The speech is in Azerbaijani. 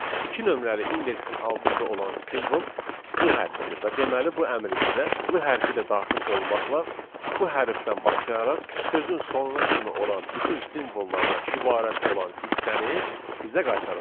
İki nömrəli indeksin altında olan simvol l hərfindir və deməli bu əmr bizə l hərfi də daxil olmaqla bu hərfdən başlayaraq sözün sonuna kimi olan bütün simvollardan ibarət olan hissəni bizə qaytaracaq.